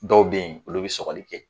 Dɔw be yen olu bi sɔgɔli kɛ